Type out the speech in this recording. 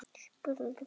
spurðu menn.